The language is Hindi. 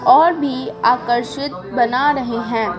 और भी आकर्षित बना रही हैं ।